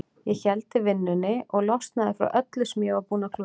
Ég héldi vinnunni og losnaði frá öllu sem ég var búinn að klúðra.